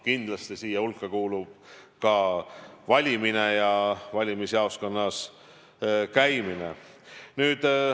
Kindlasti kuuluvad siia hulka ka valimine ja valimisjaoskonnas käimine.